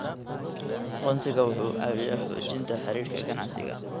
Aqoonsigu wuxuu caawiyaa xoojinta xiriirka ganacsiga.